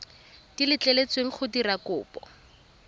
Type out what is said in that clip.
di letleletsweng go dira kopo